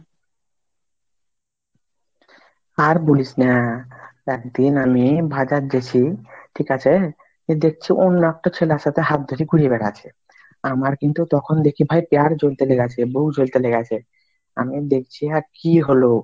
আর বুলিস না, একদিন আমি বাজার যেচি, ঠিক আছে দেখছি অন্য একটা ছেলের সাথে হাত ধরে ঘুরে বেড়াচ্ছে, আমার কিন্তু তখন দেখে ভাই পিয়ার জ্বলতে লেগ্যাছে, বহু জ্বলতে লেগ্যাছে আমি দেখছি অ্যা কি হলো